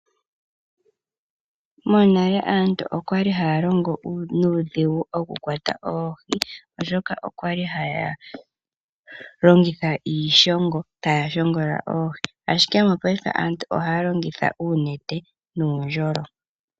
Monale aantu okwali haya longo nuudhigu okukwata oohi oshoka okwali haya longitha iishongo taya shongola oohi. Mongashingeyi aantu ohaya longitha uunete nuundjolo.